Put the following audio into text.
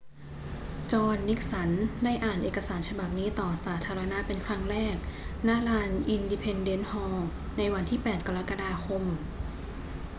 จอห์น นิกสัน ได้อ่านเอกสารฉบับนี้ต่อสาธารณะเป็นครั้งแรก ณ ลาน อินดิเพนเดนซ์ฮอลล์ ในวันที่ 8 กรกฎาคม